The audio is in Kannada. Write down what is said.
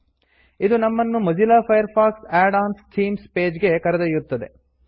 ಇದು ನಮ್ಮನ್ನು ಮೊಝಿಲ್ಲ ಫೈರ್ಫಾಕ್ಸ್ ಆಡ್ ಆನ್ಸ್ನ ಥೀಮ್ ಪೇಜ್ ಗೆ ಕರೆದೊಯ್ಯುತ್ತದೆ